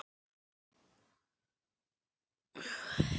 Veit um sex aðra þolendur